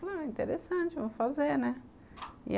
Falei, interessante, vou fazer, né?